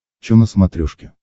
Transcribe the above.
чо на смотрешке